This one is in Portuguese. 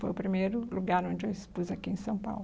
Foi o primeiro lugar onde eu expus aqui em São Paulo.